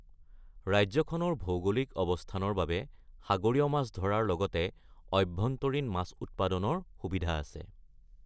ৰাজ্যখনৰ ভৌগোলিক অৱস্থানৰ বাবে সাগৰীয় মাছ ধৰাৰ লগতে আভ্যন্তৰীণ মাছ উৎপাদনৰ সুবিধা আছে।